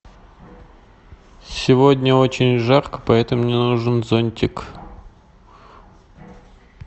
сегодня очень жарко поэтому мне нужен зонтик